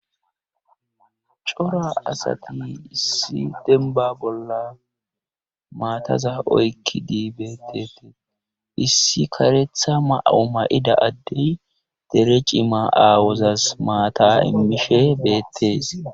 cora asatini issi denba bolla maataza oykkidii bettetii issi karetha ma7o ma7ida addey dere cima aawozas maata immishe beettees